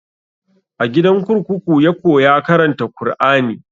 A gidan kurkuku ya koya karanta kur'ani